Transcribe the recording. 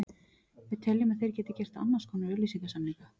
Við teljum að þeir geti gert annars konar auglýsingasamninga.